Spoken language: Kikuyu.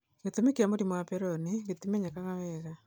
Gĩtũmi kĩa mũrimũ wa Peyronie gĩtimenyekaga wega.